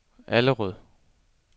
Allerød